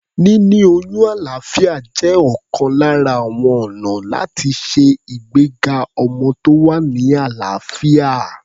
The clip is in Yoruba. Níní oyún alàáfíà jẹ́ ọ̀kan lára àwọn ọ̀nà láti ṣe ìgbéga ọmọ tó wà ní àlàáfíà.